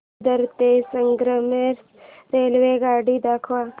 दादर ते संगमेश्वर रेल्वेगाडी दाखव